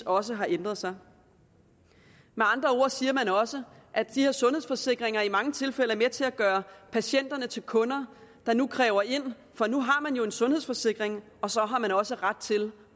også har ændret sig med andre ord siger man også at de her sundhedsforsikringer i mange tilfælde er med til at gøre patienterne til kunder der nu kræver ind for nu har man jo en sundhedsforsikring og så har man også ret til